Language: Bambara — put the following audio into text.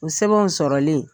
U sɛbɛnw sɔrɔlen.